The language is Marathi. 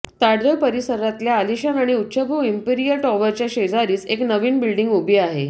ताडदेव परिसरातल्या आलिशान आणि उच्चभ्रू इंपिरिअल टॉवरच्या शेजारीच एक नवीन बिल्डिंग उभी आहे